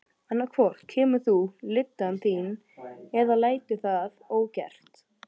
Annað hvort kemur þú lyddan þín eða lætur það ógert.